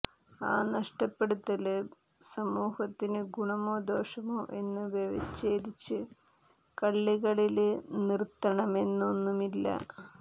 ആ നഷ്ടപ്പെടല് സമൂഹത്തിന് ഗുണമോ ദോഷമോ എന്ന് വ്യവച്ഛേദിച്ച് കള്ളികളില് നിര്ത്തണമെന്നൊന്നുമില്ല